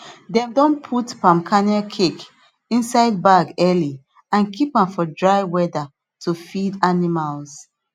dem don put palm kernel cake inside bag early and keep am for dry weather to feed animals